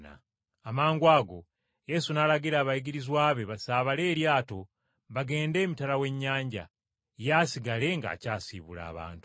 Amangwago Yesu n’alagira abayigirizwa be basaabale eryato bagende emitala w’ennyanja, ye asigale ng’akyasiibula abantu.